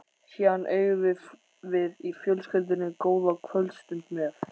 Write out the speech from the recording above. Síðan eigum við í fjölskyldunni góða kvöldstund með